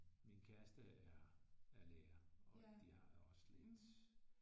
Min kæreste er lærer og de har jo også lidt